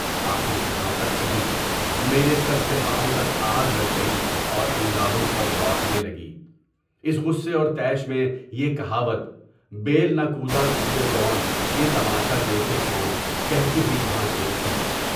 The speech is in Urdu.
آخر کہاں تک سہوں، میرے سر سے پاوں تک آگ لگ گئی اور انگاروں پر لوٹنے لگی، اس غصّے اور طیش میں یہ کہاوت (بیل نہ کودا سودے گون، بہ تماشہ دیکھے کون) کہتی ہوئی وہاں سے اٹھی۔